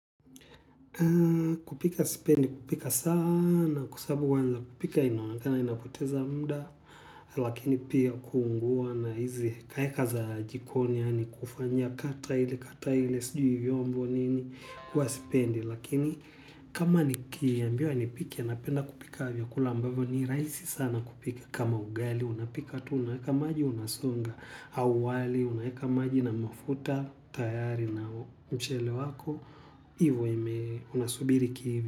Kupika sipendi kupika sana kwa sabu wanza kupika inoangana inapoteza muda lakini pia kuungua na hizi kaya kaza jikoni yani kufanya kata ili kata ili sjui vyombo nini huwa sipendi lakini kama ni kiambiwa ni pike ya napenda kupika vya kulambavyo ni raisi sana kupika kama ugali unapika tu unaeka maji unasonga au wali unaeka maji na mafuta tayari na mchele wako iwo ime una subiri ki.